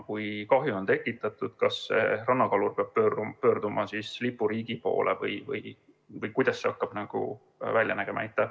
Kui kahju on tekitatud, kas rannakalur peab pöörduma lipuriigi poole või kuidas see hakkab välja nägema?